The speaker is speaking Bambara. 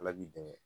Ala b'i dɛmɛ